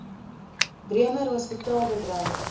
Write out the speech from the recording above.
bremer hospitaal bedryf